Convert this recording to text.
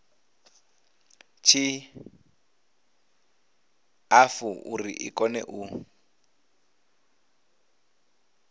tshiṱafu uri i kone u